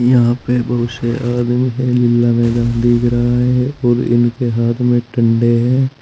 यहां पे बहुत से आदमी दिख रहा है और इनके हाथ में डंडे हैं।